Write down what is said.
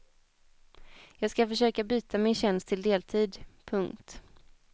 Jag ska försöka byta min tjänst till deltid. punkt